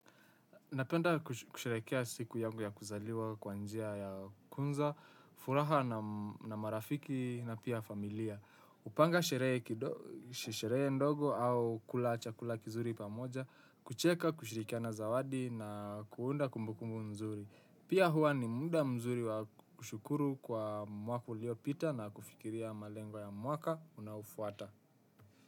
Napenda kusherehekea siku yangu ya kuzaliwa kwa njia ya kwanza, furaha na marafiki na pia familia. Hupanga sherehe ndogo au kula chakula kizuri pamoja, kucheka, kushirikiana zawadi na kuunda kumbukumbu mzuri. Pia huwa ni munda mzuri wa kushukuru kwa mwaka uliopita na kufikiria malengo ya mwaka unaofuata.